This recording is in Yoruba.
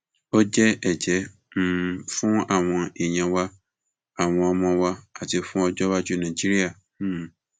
ó jẹ ẹjẹ um fún àwọn èèyàn wa àwọn ọmọ wa àti fún ọjọ iwájú nàìjíríà um